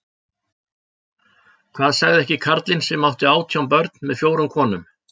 Hvað sagði ekki karlinn sem átti átján börn með fjórum konum